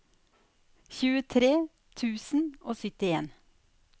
tjuetre tusen og syttien